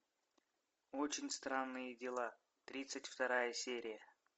очень странные дела тридцать вторая серия